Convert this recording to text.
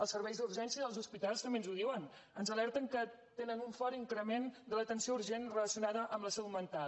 a serveis d’urgències dels hospitals també ens ho diuen ens alerten que tenen un fort increment de l’atenció urgent relacionada amb la salut mental